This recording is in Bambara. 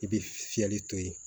I bɛ fiyɛli to ye